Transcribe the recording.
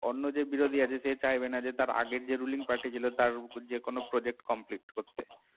অন্য যে বিরোধী আছে সে চাইবে না আগের যে আগের যে ruling party ছিল তার কোন project complete করতে